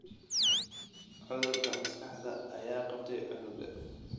Cudurka maskaxda ayaa qabtay cunuga